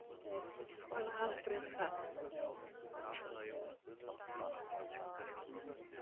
Höskuldur: Hvaða aðalbraut er það?